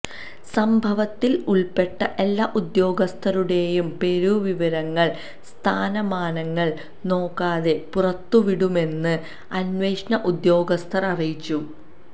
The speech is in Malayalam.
സംഭവത്തിൽ ഉൾപ്പെട്ട എല്ലാ ഉദ്യോഗസ്ഥരുടെയും പേരുവിവരങ്ങൾ സ്ഥാനമാനങ്ങൾ നോക്കാതെ പുറത്തുവിടുമെന്ന് അന്വേഷണ ഉദ്യോഗസ്ഥൻ അറിയിച്ചു